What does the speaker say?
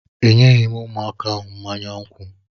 Enyeghị m ụmụaka ahụ mmanya nkwụ